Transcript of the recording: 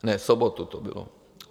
Ne, v sobotu to bylo.